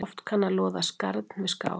Oft kann að loða skarn við skál.